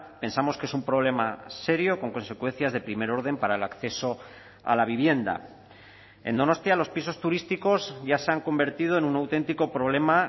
pensamos que es un problema serio con consecuencias de primer orden para el acceso a la vivienda en donostia los pisos turísticos ya se han convertido en un auténtico problema